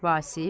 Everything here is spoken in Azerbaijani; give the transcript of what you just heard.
Vasif.